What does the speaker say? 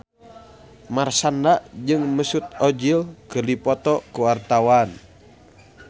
Marshanda jeung Mesut Ozil keur dipoto ku wartawan